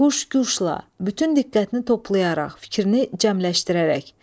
Huşquşla, bütün diqqətini toplayaraq, fikrini cəmləşdirərək.